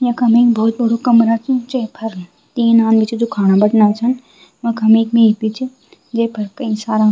यखम एक भौत बडू कमरा च जैफर तीन आदमी छिन जू खाणा बैठना छन वखम एक मेज भी च जैफ़र कई सारा।